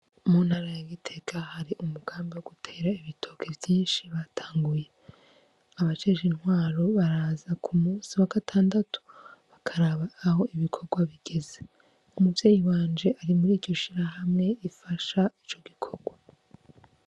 Muntara ya Gitega hari umugambi wo gutera ibitoke vyinshi batanguye. Abajejwe intwaro baraza kumusi wa gatandatu, bakaraba aho ibikorwa bigeze. Umuvyeyi wanje ari muri iryo shirahamwe rifasha ico gikorwa.